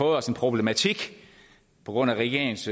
os en problematik på grund af regeringens